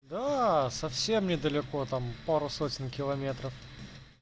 да совсем недалеко там пару сотен километров